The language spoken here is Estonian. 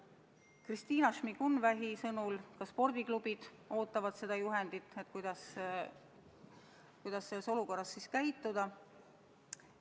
Kristina Šmigun-Vähi sõnul ootavad ka spordiklubid juhendit, kuidas selles olukorras käituda.